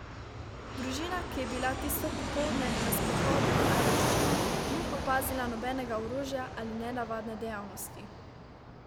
Družina, ki je bila tisto popoldne na sprehodu na Ajdovščino, ni opazila nobenega orožja ali nenavadne dejavnosti.